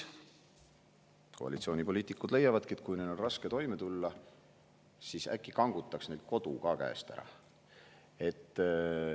Koalitsioonipoliitikud leiavad, et kui neil on raske toime tulla, siis äkki kangutaks neilt kodu ka käest ära.